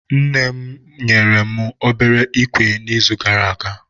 Nne mụ nyere mụ obere ikwe na izu gara aga